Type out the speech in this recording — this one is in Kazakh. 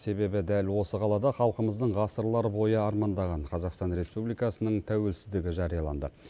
себебі дәл осы қалада халқымыздың ғасырлар бойы армандаған қазақстан республикасының тәуелсіздігі жарияланды